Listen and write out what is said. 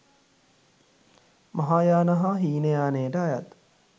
මහායාන හා හීනයානයට අයත්